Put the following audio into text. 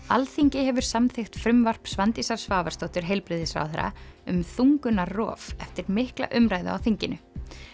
Alþingi hefur samþykkt frumvarp Svandísar Svavarsdóttur heilbrigðisráðherra um þungunarrof eftir mikla umræðu á þinginu